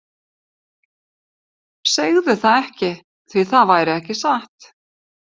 Segðu það ekki, því það væri ekki satt.